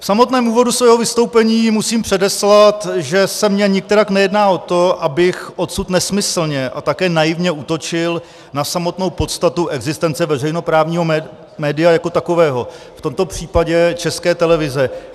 V samotném úvodu svého vystoupení musím předeslat, že se mně nikterak nejedná o to, abych odsud nesmyslně a také naivně útočil na samotnou podstatu existence veřejnoprávního média jako takového, v tomto případě České televize.